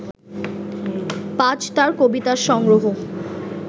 পাজ তার কবিতা সংগ্রহ